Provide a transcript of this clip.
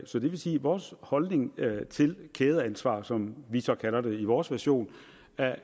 så det vil sige at vores holdning til kædeansvar som vi så kalder det i vores version